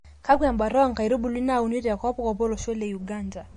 Kakwa embata oonkaitubulu nauni te kopkop Olosho le Uganda.